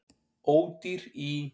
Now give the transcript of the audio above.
Ódýr í